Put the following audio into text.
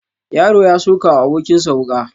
Yaro ya sokawa abokin sa wuka